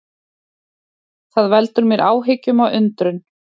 Það veldur mér áhyggjum og undrun